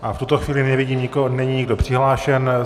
A v tuto chvíli nevidím nikoho, není nikdo přihlášen.